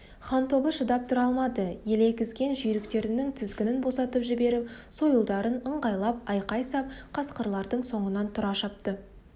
хан тобы шыдап тұра алмады елегізген жүйріктерінің тізгінін босатып жіберіп сойылдарын ыңғайлап айқай сап қасқырлардың соңынан тұра шапты